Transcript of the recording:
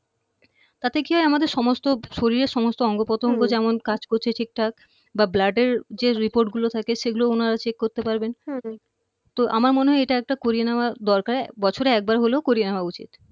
তাতে কি হয় আমাদের সমস্ত শরীরের সমস্ত অঙ্গ প্রত্যঙ্গ হম যেমন কাজ করছে ঠিকঠাক বা blood এর যে report গুলো থাকে সেগুলো উনারা check করতে পারবেন হম তো আমার মনে হয় এটা একটা করিয়ে নেয়া দরকার বছরে একবার হলেও করিয়ে নেওয়া উচিত